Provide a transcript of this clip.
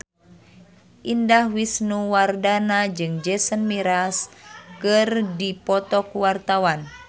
Indah Wisnuwardana jeung Jason Mraz keur dipoto ku wartawan